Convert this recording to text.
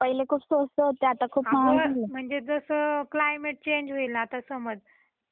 अग म्हणजे जस क्लायमेट चेंज होईल तस मग.